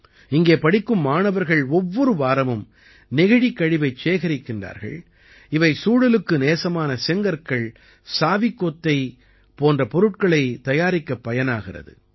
இங்கே படிக்கும் மாணவர்கள் ஒவ்வொரு வாரமும் நெகிழிக் கழிவைச் சேகரிக்கிறார்கள் இவை சூழலுக்கு நேசமான செங்கற்கள் சாவிக்கொத்தை போன்ற பொருட்களைத் தயாரிக்கப் பயனாகிறது